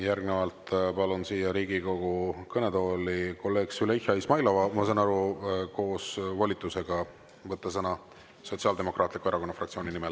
Järgnevalt palun siia Riigikogu kõnetooli kolleeg Züleyxa Izmailova, ma saan aru, koos volitusega võtta sõna Sotsiaaldemokraatliku Erakonna fraktsiooni nimel.